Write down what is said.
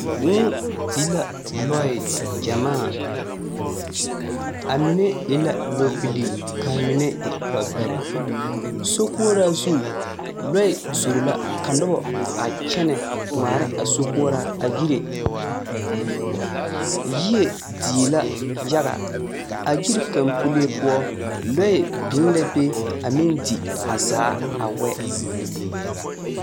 Vūū di la lɔɛ gyamaa. A mine e la lɔɔbilii, ka a mine e lɔɔbɛrɛ. Sokoɔraa zu lɔɛ zoro la ka noba a kyɛnɛ ŋmaara a sokoɔraa a yire. Yie die la yaga. A yiri kaŋa pulee poɔ, lɔɛ biŋ la be a meŋ di a zaa a wɛ.